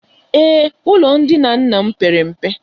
Ee, ụlọ ndina nna m pere mpe.